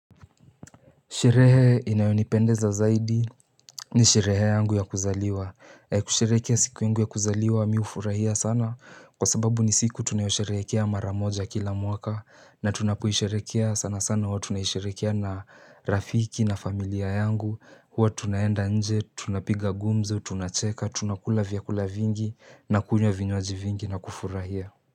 Sherehe inayonipendeza zaidi ni sherehe yangu ya kuzaliwa. Kusherehekea siku yangu ya kuzaliwa mimi hufurahia sana kwa sababu ni siku tunayosherehekea mara moja kila mwaka na tunapoisherehekea sana sana wa tunaisherehekea na rafiki na familia yangu. Huwa tunaenda nje, tunapiga gumzo, tunacheka, tunakula vyakula vingi na kunywa vinywaji vingi na kufurahia.